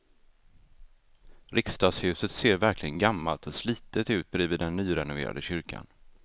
Riksdagshuset ser verkligen gammalt och slitet ut bredvid den nyrenoverade kyrkan.